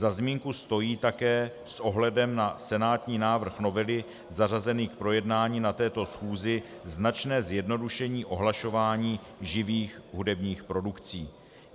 Za zmínku stojí také s ohledem na senátní návrh novely zařazený k projednání na této schůzi značné zjednodušení ohlašování živých hudebních produkcí.